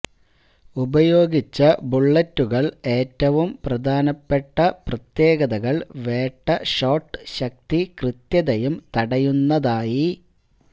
ഉപയോഗിച്ച ബുള്ളറ്റുകൾ ഏറ്റവും പ്രധാനപ്പെട്ട പ്രത്യേകതകൾ വേട്ട ഷോട്ട് ശക്തി കൃത്യതയും തടയുന്നതായി